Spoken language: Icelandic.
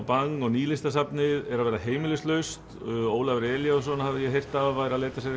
Bang og Nýlistasafnið er að verða heimilislaust Ólafur Elíasson hafði ég heyrt væri að leita sér